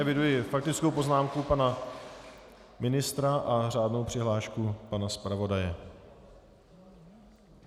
Eviduji faktickou poznámku pana ministra a řádnou přihlášku pana zpravodaje.